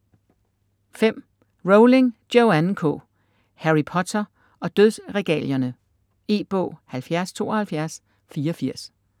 Rowling, Joanne K.: Harry Potter og dødsregalierne E-bog 707284